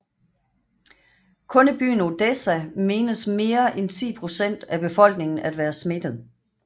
Kun i byen Odessa menes mere end 10 procent af befolkningen at være smittet